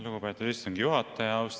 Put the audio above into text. Lugupeetud istungi juhataja!